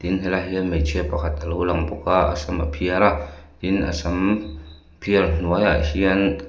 in helaiah hian hmeichhia pakhat a lo lang bawk a a sam phiar a tin a sam phiar hnuaiah hian--